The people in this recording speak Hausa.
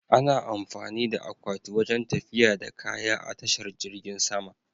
Ana amfani da akwati wajen tafiya da kaya a tashar jirgin sama.